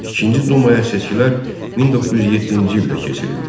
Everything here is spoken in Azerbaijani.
İkinci dumaya seçkilər 1907-ci ildə keçirildi.